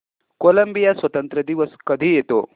Colombia स्वातंत्र्य दिवस कधी येतो